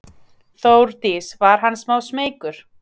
Þórdís: Var hann smá smeykur?